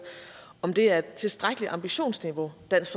om det er et tilstrækkeligt ambitionsniveau dansk